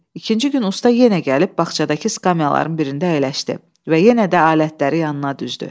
İkinci gün usta yenə gəlib bağçadakı skamyaların birində əyləşdi və yenə də alətləri yanına düzdü.